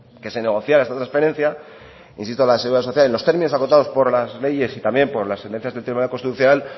que se negociara esta transferencia insisto la de seguridad social en los términos acotados por las leyes y también por las sentencias del tribunal constitucional